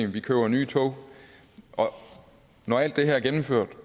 vi køber nye tog og når alt det her er gennemført